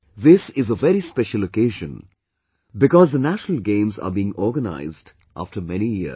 This is a very special occasion, because the National Games are being organized after many years